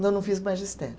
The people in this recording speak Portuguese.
Não, não fiz magistério.